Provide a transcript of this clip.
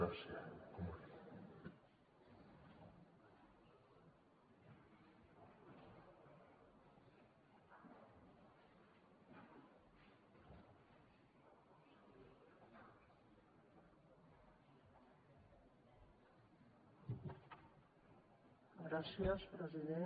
gràcies president